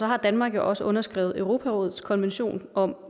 har danmark jo også underskrevet europarådets konvention om